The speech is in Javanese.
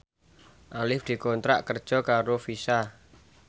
Arif dikontrak kerja karo Visa